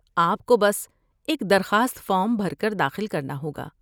آپ کو بس ایک درخواست فارم بھر کر داخل کرنا ہوگا۔